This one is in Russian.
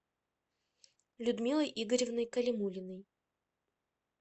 людмилой игоревной калимуллиной